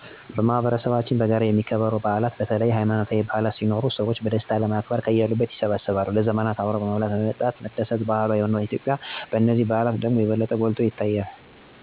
በማህበረሰባችን በጋራ የሚከበሩ በዓላት በተለይ ሀይማኖታዊ በዓላት ሲኖሩ ሰዎች በደስታ ለማክበር ከያሉበት ይሰበሰባሉ። ለዘመናት አብሮ መብላት እና አብሮ መደስት ባህሏ በሆነባት ኢትዮጲያ በነዚህ በዓላት ደግሞ የበለጠ ጐልቶ ይታያል። ሰዎች የተለያዩ አይነት ምግቦች እና መጠጦችን በማዘጋጃት እና ወዳጅ ዘመዶችን በመጥራት ማዕድን በጋራ በመቅመስ በደስታ ያከብራሉ። ከዚህ በተጨማሪ ለተቸገሩትንም ያላቸውን በማካፈል ያሳልፍሉ።